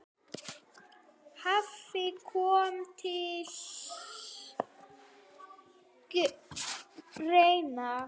hafi komið til greina.